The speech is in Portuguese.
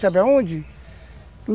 Sabe aonde?